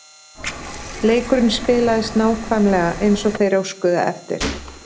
Leikurinn spilaðist nákvæmlega eins og þeir óskuðu eftir.